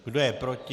Kdo je proti?